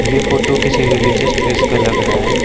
ये फोटो किसी religious place का लगा रहा है।